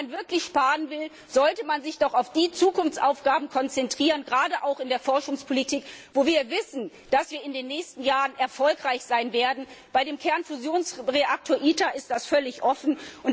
Wenn man wirklich sparen will, sollte man sich auf jene Zukunftsaufgaben konzentrieren, gerade auch in der Forschungspolitik, von denen wir wissen, dass wir in den nächsten Jahren erfolgreich sein werden. Bei dem Kernfusionsreaktor ITER ist das völlig offen.